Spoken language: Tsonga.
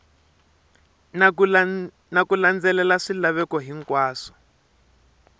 na ku landzelela swilaveko hinkwaswo